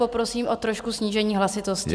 Poprosím o trošku snížení hlasitosti.